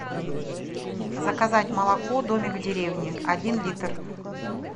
заказать молоко домик в деревне один литр